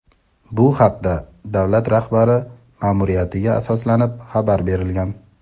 Bu haqda davlat rahbari ma’muriyatiga asoslanib xabar berilgan.